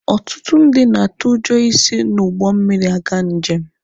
Ọtụtụ ndị na-atụ ụjọ isi n'ụgbọ mmiri aga njem.